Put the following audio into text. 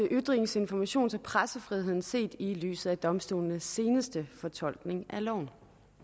ytrings informations og pressefriheden set i lyset af domstolenes seneste fortolkning af loven